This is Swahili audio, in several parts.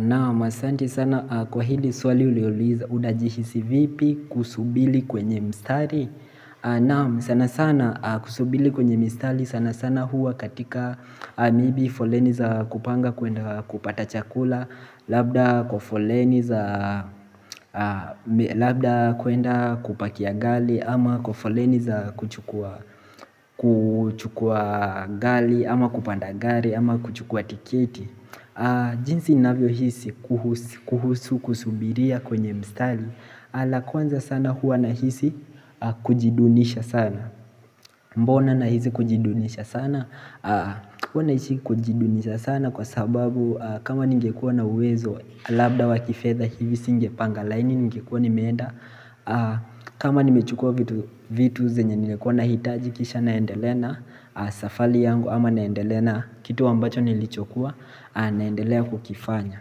Naam asanti sana kwa hili swali uliouliza unajihisi vipi kusubiri kwenye mstari Naam sana sana kusubiri kwenye mistari sana sana huwa katika maybe foleni za kupanga kuenda kupata chakula Labda kwa foleni za labda kuenda kupakia gari ama kwa foleni za kuchukua gari ama kupanda gari ama kuchukua tiketi jinsi inavyohisi kuhusu kusubiria kwenye mstari la kwanza sana huwa nahisi kujidunisha sana Mbona nahisi kujidunisha sana Huwa nahisi kujidunisha sana kwa sababu kama ningekuwa na uwezo labda wa kifedha hivi singepanga laini ningekuwa nimeenda kama nimechukua vitu zenye ningekuwa nahitaji kisha naendele na safari yangu ama naendele na kitu ambacho nilichokuwa naendelea kukifanya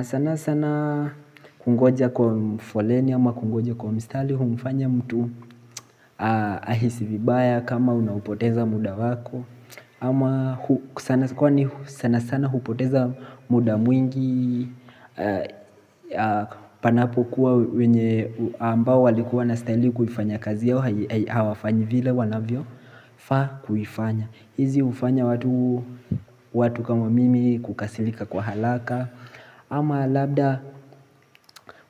sana sana kungoja kwa foleni ama kungoja kwa mstari humfanya mtu ahisi vibaya kama unaupoteza muda wako ama sana sana hupoteza muda mwingi Panapokuwa wenye ambao walikuwa wanastahili kufanya kazi yao Hawafanyi vile wanavyofaa kuifanya hizi hufanya watu watu kama mimi kukasirika kwa haraka ama labda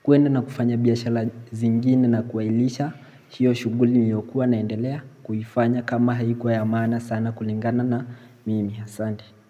kuenda na kufanya biashara zingine na kuhairisha hiyo shughuli niliyokuwa naendelea kuifanya kama haikuwa ya maana sana kulingana na mimi asanti.